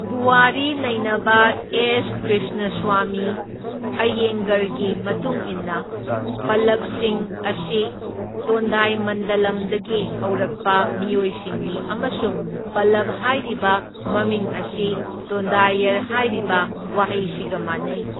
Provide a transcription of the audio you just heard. ꯄꯨꯋꯥꯔꯤ ꯅꯩꯅꯕ ꯑꯦꯁ꯬ ꯀ꯭ꯔꯤꯁꯅꯁ꯭ꯋꯥꯃꯤ ꯑꯩꯌꯦꯡꯒꯔꯒꯤ ꯃꯇꯨꯡ ꯏꯟꯅ, ꯄꯜꯂꯕꯁꯤꯡ ꯑꯁꯤ ꯇꯣꯟꯗꯥꯏꯃꯟꯗꯂꯝꯗꯒꯤ ꯍꯧꯔꯛꯄ ꯃꯤꯑꯣꯏꯁꯤꯡꯅꯤ ꯑꯃꯁꯨꯡ ꯄꯜꯂꯕ ꯍꯥꯏꯔꯤꯕ ꯃꯃꯤꯡ ꯑꯁꯤ ꯇꯣꯟꯗꯥꯏꯌꯔ ꯍꯥꯏꯔꯤꯕ ꯋꯥꯍꯩꯁꯤꯒ ꯃꯥꯟꯅꯩ꯫